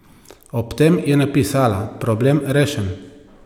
Ob tem je napisala: "Problem rešen".